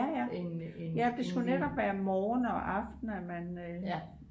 det skulle netop være morgen og aften at man